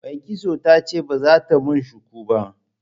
Mai kitson ta ce ba za ta mun shuku ba.